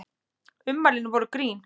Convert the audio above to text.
Ummælin voru grín